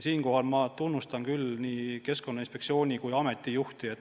Siinkohal ma tunnustan küll nii Keskkonnainspektsiooni kui ameti juhti.